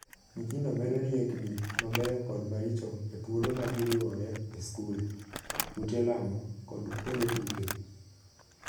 Nyithindo medo riekni mabeyo kod maricho e thuolo ma giriwore e skul, ute lamo, kod kuonde tuke.